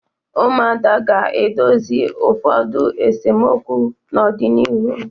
Ụmụada ga-edozi ụfọdu esemokwu n'ọdịnihu.